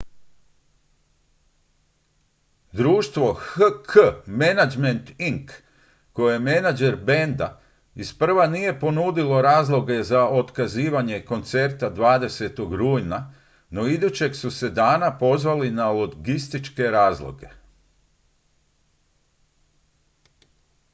društvo hk management inc koje je menadžer benda isprva nije ponudilo razloge za otkazivanje koncerta 20. rujna no idućeg su se dana pozvali na logističke razloge